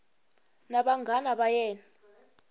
na vanghana va yena va